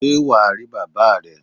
Sé wà á rí bàbáa re?